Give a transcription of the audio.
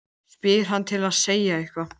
spyr hann til að segja eitthvað.